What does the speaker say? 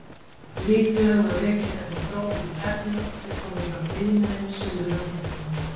Líklega má rekja þessa þróun til efna sem koma frá iðnaði sunnar á hnettinum.